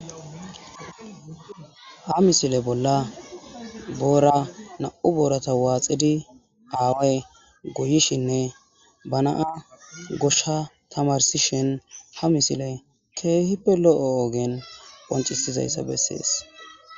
ha misile bolla boora na7u boorata waaxidi aaway guyishinne banaa gosha tamarsi shen ha misiley keehippe lo7o ogen qoncisizayssa bessees